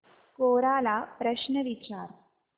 कोरा ला प्रश्न विचार